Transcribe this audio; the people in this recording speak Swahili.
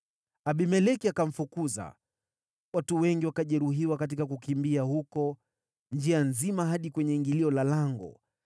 Abimeleki akamfukuza, watu wengi wakajeruhiwa katika kukimbia huko, njia nzima hadi kwenye ingilio la lango.